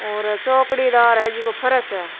और चौकड़ी दार है जेको फर्श है।